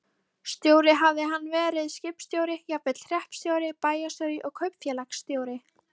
Stjóri hafði hann verið, skipstjóri, jafnvel hreppstjóri, bæjarstjóri og kaupfélagsstjóri.